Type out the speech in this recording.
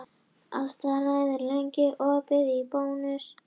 Ástráður, hvað er lengi opið í Bónus?